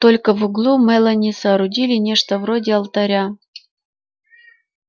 только в углу мелани соорудила нечто вроде алтаря